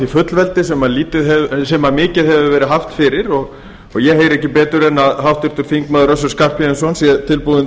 fullveldi sem mikið hefur verið haft fyrir ég heyri ekki betur en að háttvirtur þingmaður össur skarphéðinsson sé tilbúinn